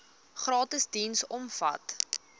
gratis diens omvat